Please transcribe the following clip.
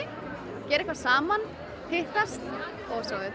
gera eitthvað saman hittast og svo